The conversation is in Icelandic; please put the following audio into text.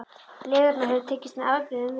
Lygarnar höfðu tekist með afbrigðum vel.